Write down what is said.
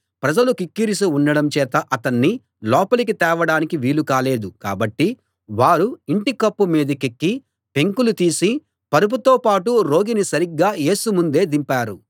ప్రజలు కిక్కిరిసి ఉండడం చేత అతణ్ణి లోపలికి తేవడానికి వీలు కాలేదు కాబట్టి వారు ఇంటికప్పు మీదికెక్కి పెంకులు తీసి పరుపుతో పాటు రోగిని సరిగ్గా యేసు ముందే దింపారు